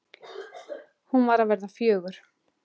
Hún var að verða fjögur.